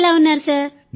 మీరు ఎలా ఉన్నారు